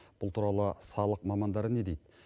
бұл туралы салық мамандары не дейді